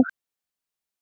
Nú eru